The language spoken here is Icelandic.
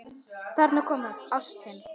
Þarna kom það: Ástin.